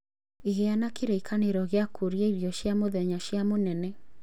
Gĩa na kĩririkano gĩa kũrĩa irio cia mũthenya cia mũnene